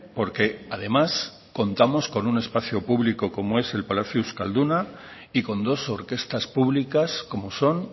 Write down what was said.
porque además contamos con un espacio público como es el palacio euskaduna y con dos orquestas públicas como son